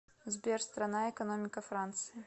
сбер страна экономика франции